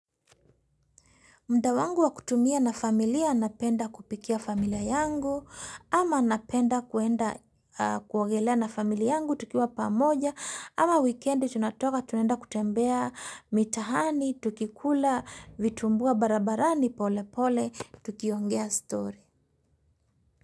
Mda wangu wa kutumia na familia napenda kupikia familia yangu, ama napenda kuenda kuogelea na familia yangu tukiwa pamoja, ama wikendi tunatoka tunaenda kutembea mitahani, tukikula, vitumbua barabarani pole pole, tukiongea story.